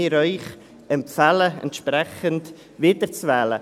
Beide empfehlen wir Ihnen entsprechend zur Wiederwahl.